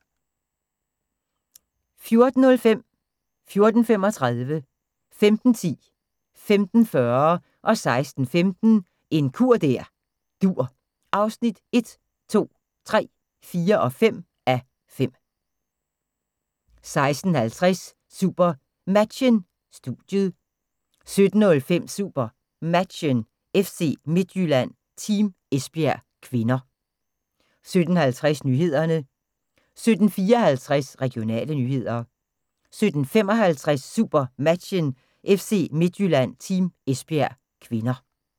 14:05: En kur der dur (1:5) 14:35: En kur der dur (2:5) 15:10: En kur der dur (3:5) 15:40: En kur der dur (4:5) 16:15: En kur der dur (5:5) 16:50: SuperMatchen: Studiet 17:05: SuperMatchen: FC Midtjylland-Team Esbjerg (k) 17:50: Nyhederne 17:54: Regionale nyheder 17:55: SuperMatchen: FC Midtjylland-Team Esbjerg (k)